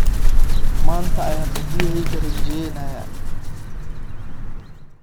Maanta ayaan cidiyaheyga rinjiyeynaya.